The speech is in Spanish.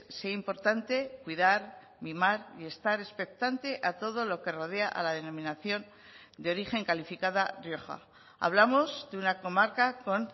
sea importante cuidar mimar y estar expectante a todo lo que rodea a la denominación de origen calificada rioja hablamos de una comarca con